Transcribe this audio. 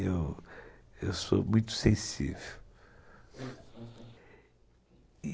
Eu sou muito sensível.